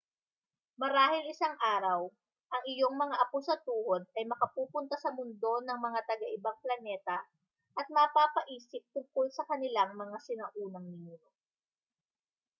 marahil isang araw ang iyong mga apo sa tuhod ay makapupunta sa mundo ng mga taga-ibang planeta at mapapaisip tungkol sa kanilang mga sinaunang ninuno